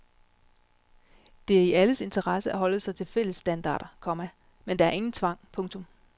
Det er i alles interesse at holde sig til fælles standarder, komma men der er ingen tvang. punktum